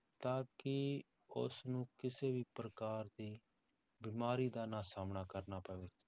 ਤਾਂ ਕਿ ਉਸਨੂੰ ਕਿਸੇ ਵੀ ਪ੍ਰਕਾਰ ਦੀ ਬਿਮਾਰੀ ਦਾ ਨਾ ਸਾਹਮਣਾ ਕਰਨਾ ਪਵੇ।